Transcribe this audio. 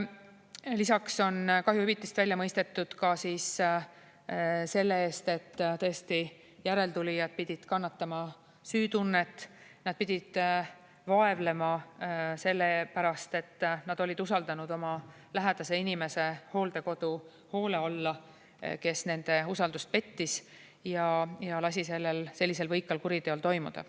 Lisaks on kahjuhüvitist välja mõistetud selle eest, et järeltulijad pidid kannatama süütunnet, nad pidid vaevlema selle pärast, et nad olid usaldanud oma lähedase inimese hooldekodu hoole alla, kes nende usaldust pettis ja lasi sellisel võikal kuriteol toimuda.